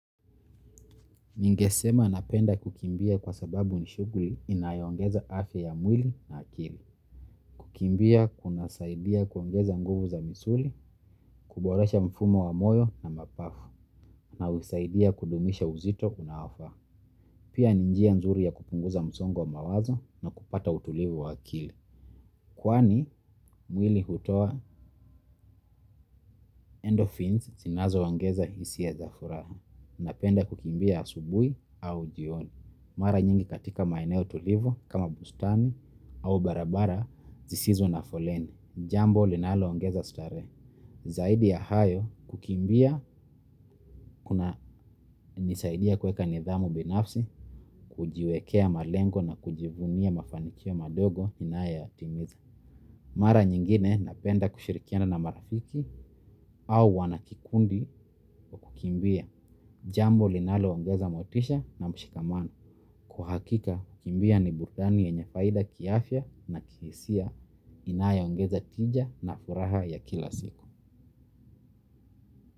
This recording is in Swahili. Ningesema napenda kukimbia kwa sababu ni shugli inayongeza afya ya mwili na akili. Kukimbia kuna saidia kuongeza nguvu za misuli, kuboresha mfumo wa moyo na mapafu, na husaidia kudumisha uzito unaofaa. Pia ni njia nzuri ya kupunguza msongo wa mawazo na kupata utulivu wa akili. Kwani, mwili hutoa endorphins zinazo ongeza hisia za furaha. Napenda kukimbia asubui au jioni. Mara nyingi katika maeneo tulivu kama bustani au barabara zisizo na foleni. Jambo linalo ongeza stare. Zaidi ya hayo kukimbia hunisaidia kueka nidhamu binafsi, kujiwekea malengo na kujivunia mafanikio madogo ninayo ya timiza. Mara nyingine napenda kushirikiana na marafiki au wanakikundi wa kukimbia. Jambo linalo ongeza motisha na mshikamano. Kwa hakika, kukimbia ni burdani yenye faida kiafya na kihisia inayo ongeza tija na furaha ya kila siku.